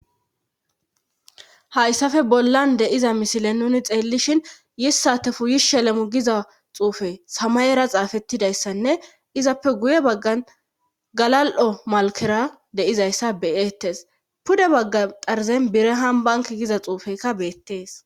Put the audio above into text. hayssafe bollan deiza misile nuni xeellishin yissate fuyish shelemu giza xuufe samayera xaafettidayssanne izappe guye baggan galal7o malkera deizayssa beyettes pude baggan qarzen birehambank giza xuufeykka beettees